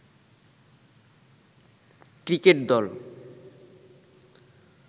cricket দল